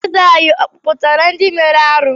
Eze anyị a kpọpụtara ndị mere arụ́?